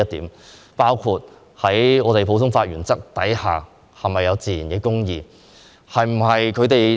此外，還有在普通法原則下，是否有自然公義。